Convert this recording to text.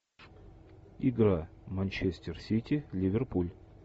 игра манчестер сити ливерпуль